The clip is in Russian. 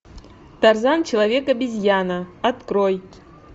тарзан человек обезьяна открой